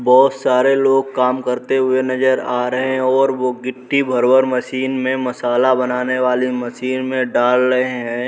बहौत सारे लोग काम करते हुए नजर आ रहे हैं और वो गिट्टी भर-भर मशीन मे मशाला बनाने वाली मशीन मे डाल रहे हैं।